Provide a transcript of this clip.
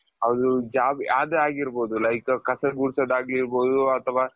ಅದು job ಯಾವುದೇ ಆಗಿರ್ಬಹುದು like ಕಸ ಗುಡ್ಸೋದು ಆಗಿರ್ಬೌದು ಅಥವಾ,